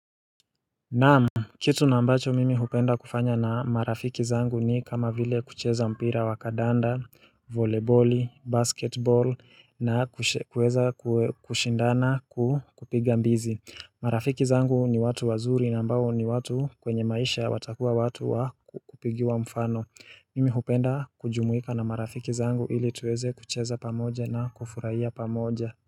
Naamu, kitu na ambacho mimi hupenda kufanya na marafiki zangu ni kama vile kucheza mpira wa kadanda, voleboli, basketball na kueza kushindana ku kupiga mbizi. Marafiki zangu ni watu wazuri na ambao ni watu kwenye maisha watakuwa watu wa ku kupigiwa mfano. Mimi hupenda kujumuika na marafiki zangu ili tuweze kucheza pamoja na kufurahia pamoja.